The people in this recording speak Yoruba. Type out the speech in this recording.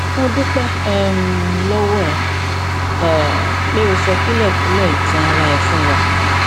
mo dúpẹ um lọwọ rẹ um pé o sọ kúlẹkúlẹ ìtàn ara rẹ fún wa